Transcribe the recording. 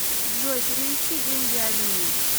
джой перевести деньги алине